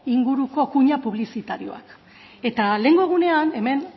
inguruko kuña publizitarioak eta lehengo egunean hemen